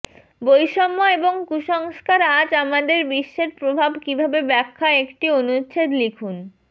বৈষম্য এবং কুসংস্কার আজ আমাদের বিশ্বের প্রভাব কিভাবে ব্যাখ্যা একটি অনুচ্ছেদ লিখুন